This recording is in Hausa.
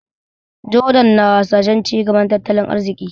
Jordan na hasashen cigaban tattalin arziki.